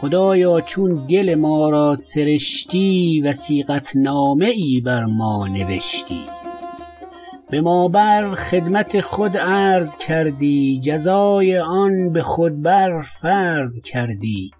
خدایا چون گل ما را سرشتی وثیقت نامه ای بر ما نوشتی به ما بر خدمت خود عرض کردی جزای آن به خود بر فرض کردی